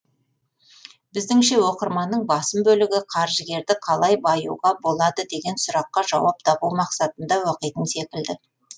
біздіңше оқырманның басым бөлігі қаржыгерді қалай баюға болады деген сұраққа жауап табу мақсатында оқитын секілді